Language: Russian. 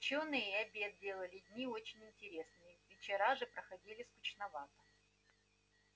учёные и обед делали дни очень интересными вечера же проходили скучновато